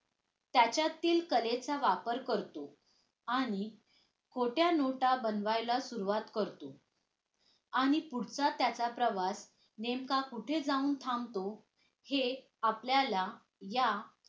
त्याच्यातील कलेचा वापर करतो आणि खोट्या नोटा बनवायला सुरवात करतो आणि पुढचा त्याचा प्रवास नेमका कुठे जाऊन थांबतो हे आपल्याला या